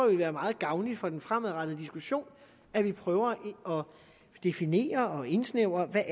vil være meget gavnligt for den fremadrettede diskussion at vi prøver at definere og indsnævre hvad